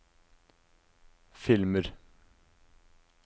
filmer